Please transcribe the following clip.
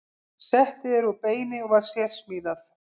Settið er úr beini og var sérsmíðað.